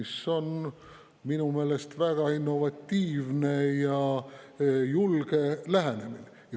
See on minu meelest väga innovatiivne ja julge lähenemine.